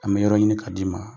An bɛ yɔrɔ ɲini k'a d'i ma.